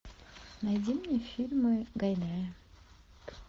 найди мне фильмы гайдая